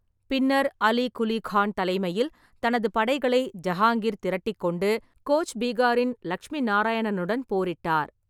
பின்னர் அலி குலி கான் தலைமையில் தனது படைகளை ஜஹாங்கீர் திரட்டிக் கொண்டு கோச் பீகாரின் லக்ஷ்மி நாராயணனுடன் போரிட்டார்.